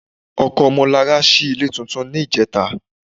Ọkọ Ọmọlarà ṣí ilé tuntun ní ìjẹta